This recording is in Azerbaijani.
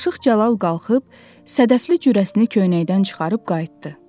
Aşıq Cəlal qalxıb sədəfli cürəsini köynəkdən çıxarıb qayıtdı.